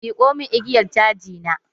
Miƙo mun igiyar caji na!